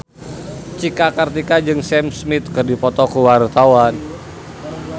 Cika Kartika jeung Sam Smith keur dipoto ku wartawan